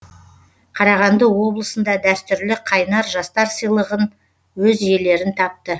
қарағанды облысында дәстүрлі қайнар жастар сыйлығын өз иелерін тапты